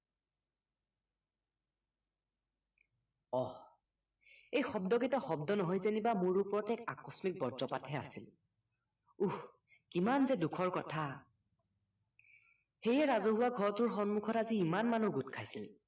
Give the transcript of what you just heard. অহ এই শব্দ কেইটা শব্দ নহয় যেন মোৰ ওপৰত এক আকস্মিক বৰ্জপাতহে আছিল উহ কিমানযে দুুখৰ কথা সেয়ে ৰাজহুৱা ঘৰটোৰ সন্মুখত আজি ইমান মানুহ গোট খাইছিল